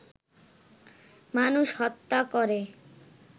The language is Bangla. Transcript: মানুষ হত্যা করে